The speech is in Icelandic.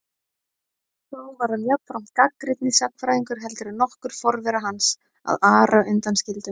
Þó var hann jafnframt gagnrýnni sagnfræðingur heldur en nokkur forvera hans, að Ara undan skildum.